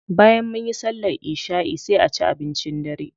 Bayan munyi sallar isha'i sai a ci abincin dare.